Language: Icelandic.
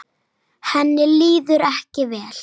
Henni líður ekki vel.